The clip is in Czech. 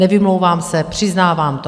Nevymlouvám se, přiznávám to.